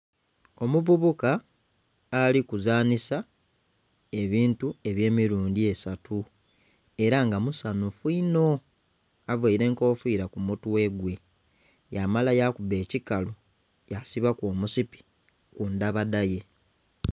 Omuvubuka alikuzanhisa ebintu ebyemirundhi esatu era nga musanhufu inho, avaire enkofiira kumutwe gwe yamala yakuba ekikalu yesibaku omusipi kundhabadha ye.